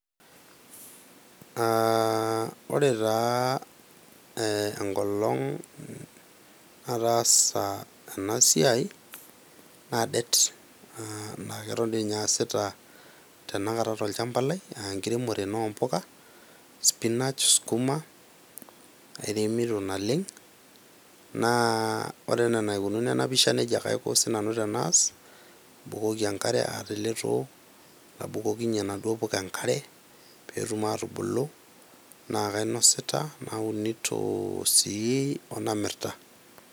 Aaa ore taa enkolong nataasa ena siai naa det naa keton dii ninye aasita tenakata tolchamba lai , enkiremore ena oompuka , spinach ,skuma airemito naleng, naa ore enaa enaikununu ena pisha , nejia ake aiko sinanu tenaas , nabukoki enkare tele too , nabukokinyie naduoo puka enkare petum atubulu, naa kainosita , naunito osii onamirta .